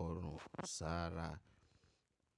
ọrùn sara.